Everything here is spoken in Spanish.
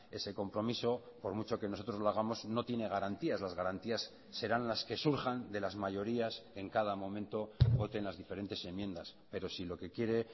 ese compromiso por mucho que nosotros lo hagamos no tiene garantías las garantías serán las que surjan de las mayorías en cada momento voten las diferentes enmiendas pero si lo que quiere